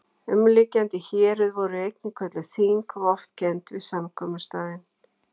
Umliggjandi héruð voru einnig kölluð þing og oft kennd við samkomustaðinn